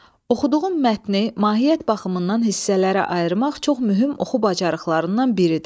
Oxuduğum mətni mahiyyət baxımından hissələrə ayırmaq çox mühüm oxu bacarıqlarından biridir.